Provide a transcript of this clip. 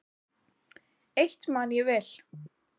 Eitt man ég vel.